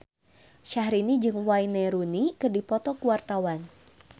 Syahrini jeung Wayne Rooney keur dipoto ku wartawan